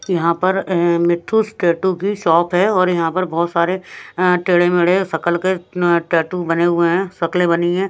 यहाँ पर मिथुुस टैटू की शॉप हैऔर यहाँ पर बहुत सारे टेढ़े-मेढ़े शकल के टैटू बने हुए हैं शकले बनी है।